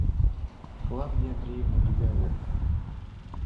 клавдия андреевна дубяга